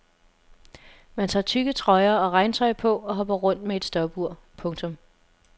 Man tager tykke trøjer og regntøj på og hopper rundt med et stopur. punktum